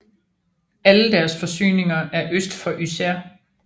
Alle deres forsyninger er øst for Yser